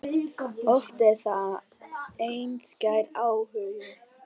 Oft er þetta einskær áhugi.